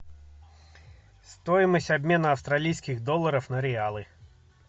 стоимость обмена австралийских долларов на реалы